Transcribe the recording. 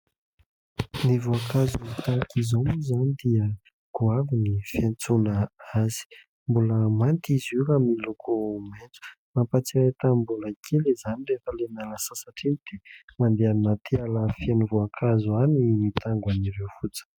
Ny voankazo tahaka izao moa izany dia goavy ny fiantsoana azy. Mbola manta izy io ary miloko maitso. Mampahatsiahy tamin'ny mbola kely izany rehefa ilay miala sasatra iny dia mandeha anaty ala feno voankazo any mitango an'ireo fotsiny.